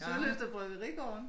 Sølyst og Bryggerigården